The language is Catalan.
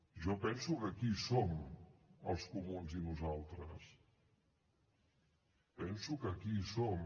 jo penso que aquí hi som els comuns i nosaltres penso que aquí hi som